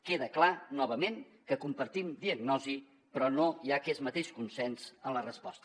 queda clar novament que compartim diagnosi però no hi ha aquest mateix consens en la resposta